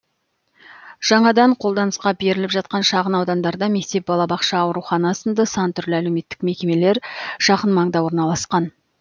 жаңадан қолданысқа беріліп жатқан шағын аудандарда мектеп балабақша аурухана сынды сан түрлі әлеуметтік мекемелер жақын маңда орналасқан